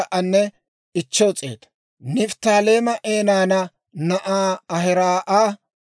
Nifttaaleema Enaana na'aa Ahiraa'a 53,400;